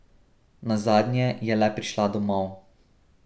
Nazadnje je le prišla domov.